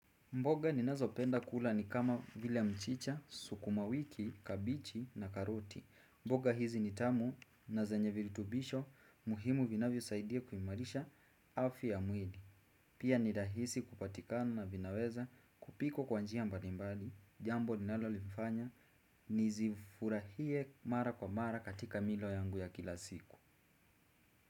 Mboga ninazopenda kula ni kama vile mchicha, sukumawiki, kabeji na karoti. Mboga hizi ni tamu na zenye viritubisho muhimu vinavyosaidia kuimarisha afya ya mwili. Pia ni rahisi kupatikana na vinaweza kupikwa kwa njia mbali mbali. Jambo linalolifanya nizifurahie mara kwa mara katika milo yangu ya kila siku.